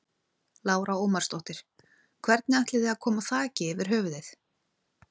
Lára Ómarsdóttir: Hvernig ætið þið að koma þaki yfir höfuðið?